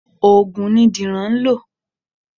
Ògùn ni Dìran ń lọ.